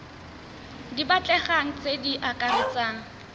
di batlegang tse di akaretsang